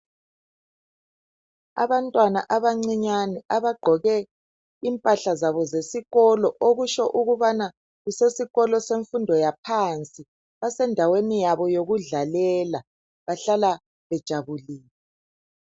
Abantwana abancinyane abagqoke impahla zabo zesikolo, okusho ukubana kusesikolo semfundo yaphansi. Basendaweni yabo yokudlalela. Bahlala bejabulile.